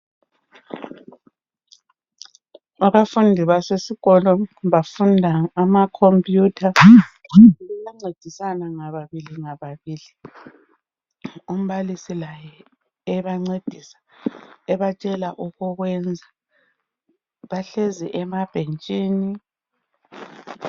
Abafundi basesikolo bafunda ama computer bayancedisana ngababili ngababili umbalisi laye ebancedisa ebatshela okokwenza bahlezi emabhentshini.